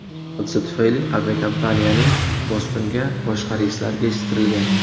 Hodisa tufayli aviakompaniyaning Bostonga boshqa reyslari kechiktirilgan.